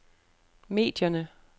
medierne